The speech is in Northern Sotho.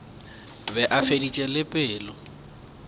be a feditše le pelo